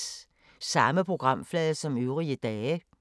Samme programflade som øvrige dage